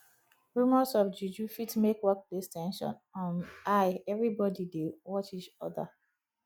rumors of juju fit make workplace ten sion um high everybody dey watch each oda